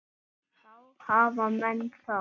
Þá hafa menn það.